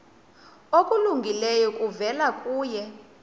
okulungileyo kuvela kuye